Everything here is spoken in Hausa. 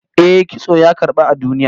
Eh, kitso ya karbu a duniya